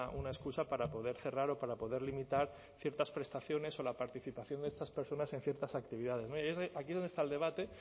una excusa para poder cerrar o para poder limitar ciertas prestaciones o la participación de estas personas en ciertas actividades y es aquí donde está el debate